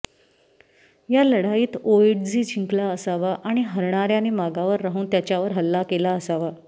या लढाईत ओएट्झी जिंकला असावा आणि हरणाऱ्याने मागावर राहून त्याच्यावर हल्ला केला असावा